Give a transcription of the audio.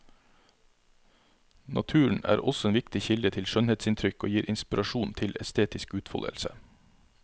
Naturen er også en viktig kilde til skjønnhetsinntrykk og gir inspirasjon til estetisk utfoldelse.